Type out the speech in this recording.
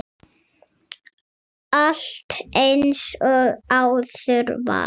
Allt eins og áður var.